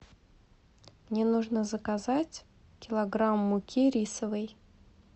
мне нужно заказать килограмм муки рисовой